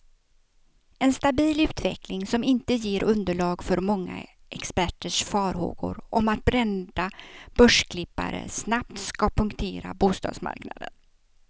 En stabil utveckling, som inte ger underlag för många experters farhågor om att brända börsklippare snabbt ska punktera bostadsmarknaden.